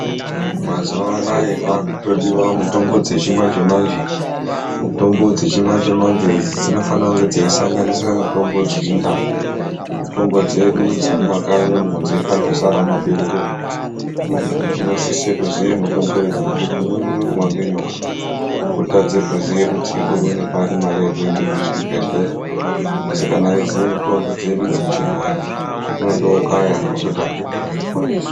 Mazuwanaya kwakutodiwa mutombo dzichimanje manje, mutombo dzichimanje manje idzi dzinofanire kunge dzechisanganisira mutombo dzechindau. Mutombo dzedu dzemumakanyi umwo dzakandozara mumaberere umo, muntu unosise kuziya mutombo idzi ngekuti umweni unorumwa ngenyoka otadze kuziya kuti oiwane pari mare yekuenda kuchibhedhlera asi kana echiziye mutombo dzedu dzechibhoyi unondokaya ototange kutozviponesa.